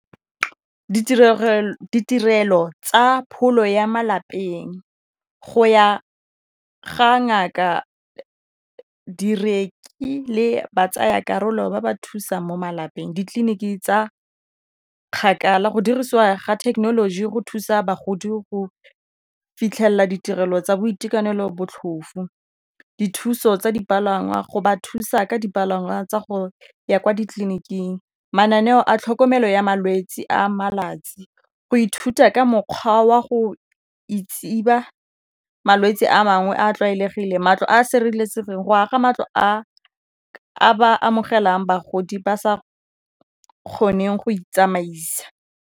Ditirelo tsa pholo ya malapeng go ya ga ngaka ba tsaya karolo ba ba thusang mo malapeng. Ditleliniki tsa kgakala, go dirisiwa ga thekenoloji go thusa bagodi go fitlhelela ditirelo tsa boitekanelo botlhofu, dithuso tsa dipalangwa, go ba thusa ka dipalangwa tsa go ya kwa ditleliniking, mananeo a tlhokomelo ya malwetsi a malatsi, go ithuta ka mokgwa wa go i malwetsi a mangwe a a tlwaelegileng, matlo a sireletsegileng, go aga matlo a ba amogelang bagodi ba sa kgoneng go itsamaisa.